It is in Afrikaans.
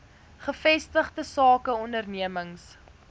gevestigde sake ondernemings